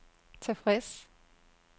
tilfreds